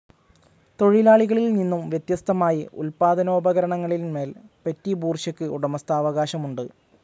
തൊഴിലാളികളിൽ നിന്നും വ്യത്യസ്തമായി ഉത്പാദനോപകരണങ്ങളിൻമേൽ പെറ്റിബൂർഷ്വയ്ക്ക് ഉടമസ്ഥാവകാശമുണ്ട്.